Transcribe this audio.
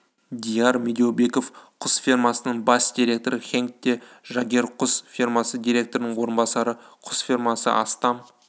дияр медеубеков құс фермасының бас директоры хенк де жагер құс фермасы директорының орынбасары құс фермасы астам